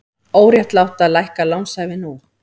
Óréttlátt að lækka lánshæfi nú